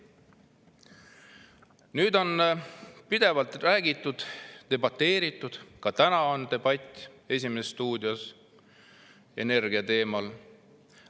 on pidevalt räägitud ja debateeritud, ka täna on "Esimeses stuudios" energiateemal debatt.